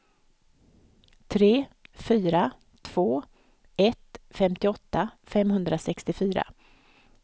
tre fyra två ett femtioåtta femhundrasextiofyra